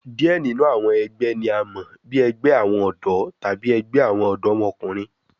Diẹ ninu awọn ẹgbẹ ni a mọ bi ẹgbẹ awọn ọdọ tabi ẹgbẹ awọn ọdọmọkunrin